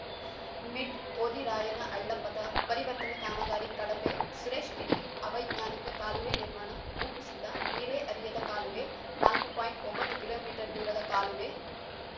mid ಹೋದಿರಾಯನಹಳ್ಳ ಪಥ ಪರಿವರ್ತನೆ ಕಾಮಗಾರಿ ಕಳಪೆ ಸುರೇಶ್‌ ಕಿಡಿ ಅವೈಜ್ಞಾನಿಕ ಕಾಲುವೆ ನಿರ್ಮಾಣ ಭೂ ಕುಸಿತ ನೀರೇ ಹರಿಯದ ಕಾಲುವೆ ನಾಲ್ಕು ಪಾಯಿಂಟ್ ಒಂಬತ್ತು ಕಿಲೋ ಮೀಟರ್ ದೂರದ ಕಾಲುವೆ